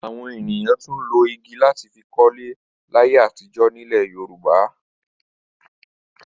Àwọn ènìyàn tún lo igi láti fi kọ́lé láyé àtijọ́ nílẹ̀ Yorùbá.